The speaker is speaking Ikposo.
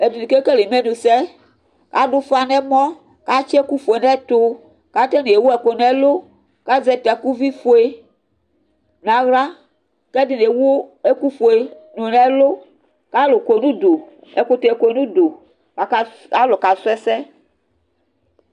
ɛdini kekele imenu sɛ ado ufa n'ɛmɔ k'atsi ɛku fue n'ɛto k'atani ewu ɛku n'ɛlu k'azɛ takuvi fue n'ala k'ɛdini ewu ɛku fue do n'ɛlu ko alo kɔ n'udu ɛkutɛ kɔ n'udu aka alo kasu ɛsɛ